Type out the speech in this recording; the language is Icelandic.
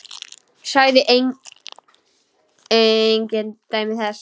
Sagði engin dæmi þess.